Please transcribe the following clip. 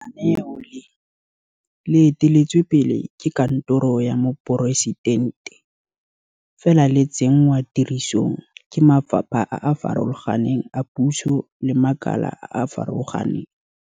Lenaneo le, le eteletswe pele ke Kantoro ya Moporesitente, fela le tsenngwa tirisong ke mafapha a a farologaneng a puso le makala a a farologaneng.